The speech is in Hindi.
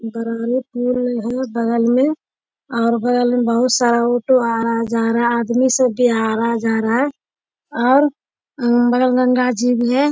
बरारी पूल में है बगल में और बगल में बहुत सारा ऑटो आ रहा है जा रहा है आदमी सब भी आ रहा है जा रहा है और अगल-बगल गंगा जी भी है।